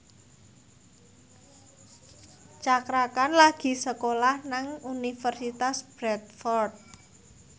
Cakra Khan lagi sekolah nang Universitas Bradford